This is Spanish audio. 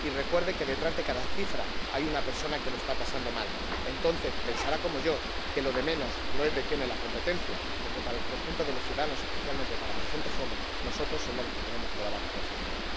y recuerde que detrás de cada cifra hay una persona que lo está pasando mal. Entonces pensará como yo, que lo de menos es de quién es la competencia, porque para el conjunto de los ciudadanos, especialmente para la gente joven, nosotros somos los que tenemos toda la responsabilidad.